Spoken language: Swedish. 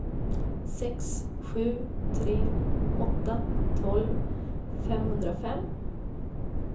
sex sju tre åtta tolv femhundrafem